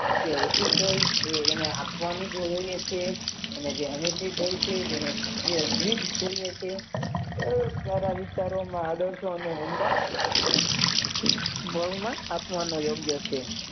કે ઉઠી તો એને આપવાની જરૂર છે અને જેનું તો છે તેને તે જ જોઈએ છે એ તારા વિચારોમાં આદર્શો અને ઊંડા બળમાં આત્મનો યોગ્ય છે.